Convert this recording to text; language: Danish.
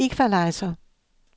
equalizer